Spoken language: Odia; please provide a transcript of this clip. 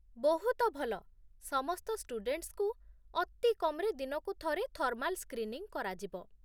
ବହୁତ ଭଲ! ସମସ୍ତ ଷ୍ଟୁଡେଣ୍ଟସ୍‌ଙ୍କୁ ଅତି କମ୍‌ରେ ଦିନକୁ ଥରେ ଥର୍ମାଲ୍ ସ୍କ୍ରିନିଂ କରାଯିବ